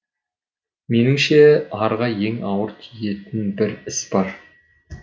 меніңше арға ең ауыр тиетін бір іс бар